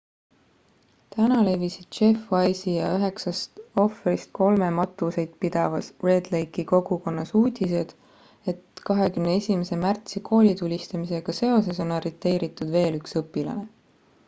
täna levisid jeff weise'i ja üheksast ohvrist kolme matuseid pidavas red lake'i kogukonnas uudised et 21 märtsi koolitulistamisega seoses on arreteeritud veel üks õpilane